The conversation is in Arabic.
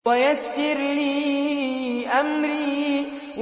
وَيَسِّرْ لِي أَمْرِي